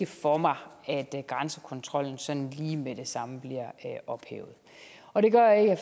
for mig at grænsekontrollen sådan lige med det samme bliver ophævet og det gør jeg